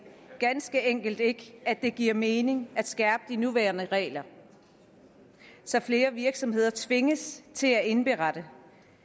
ganske enkelt ikke at det giver mening at skærpe de nuværende regler så flere virksomheder tvinges til at indberette